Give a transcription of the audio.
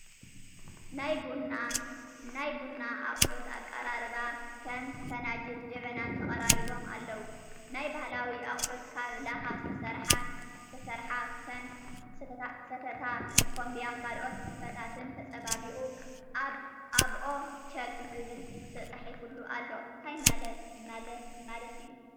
ናይ ቡና ኣቁሑ ኣቅራርባ ክም ፍናጅልን ጀብናን ተቀራሪቦም ኣለዉ ፣ ናይ ባህላዊ ኣቁሑት ካብ ላካ ዝተሰርሓ ክም ስተታ፣ ምኮምብያ ካልኦት ስፍታትን ተፀባቢቁ ኣብኦ ቸግ ዝብል ትፃሒፉሉ ኣሎ ታይ ማልት እዩ?